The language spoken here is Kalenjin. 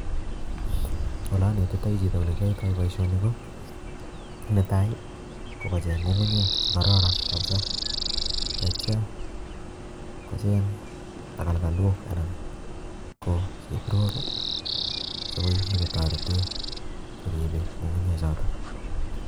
Ole anetitai chito ole kiyoitoi boisoni ko, netai kokocheng' ng'ung'unyek che kararan kapsaa, tetyaa kocheng' tagalgalok anan ko chebrok chekoi nyikotorete koribeiy ng'ung'unyek chotok